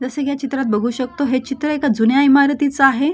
जसं कि या चित्रात बघू शकतो हे चित्र एका जुन्या इमारतीच आहे.